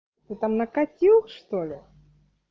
ты там накатил что ли